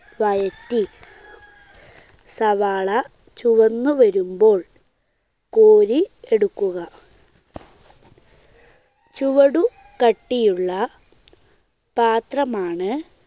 വഴറ്റി സവാള ചുവന്നുവരുമ്പോൾ കോരി എടുക്കുക. ചുവടുകട്ടിയുള്ള പാത്രമാണ്